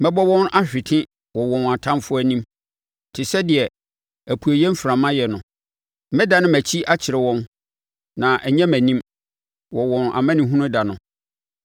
Mɛbɔ wɔn ahwete wɔ wɔn atamfoɔ anim te sɛ deɛ apueeɛ mframa yɛ no. Mɛdane mʼakyi akyerɛ wɔn, na ɛnyɛ mʼanim, wɔ wɔn amanehunu da no.”